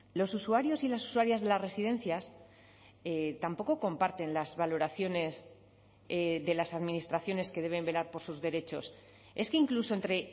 los usuarios y las usuarias de las residencias tampoco comparten las valoraciones de las administraciones que deben velar por sus derechos es que incluso entre